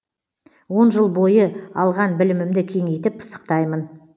он жыл бойы алған білімімді кеңейтіп пысықтаймын